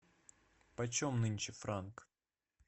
почем нынче франк